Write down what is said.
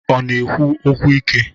Ọ na-ekwu okwu ike?